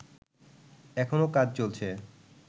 এখনো কাজ চলছে